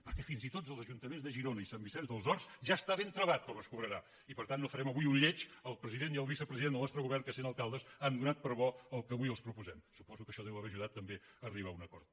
perquè fins i tot als ajuntaments de girona i sant vicenç dels horts ja està ben travat com es cobrarà i per tant no farem avui un lleig al president i al vicepresident del nostre govern que sent alcaldes han donat per bo el que avui els proposem suposo que això deu haver ajudat també a arribar a un acord